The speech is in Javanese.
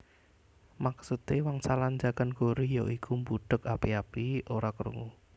Maksude wangsalan njagan gori ya iku mbudheg api api ora krungu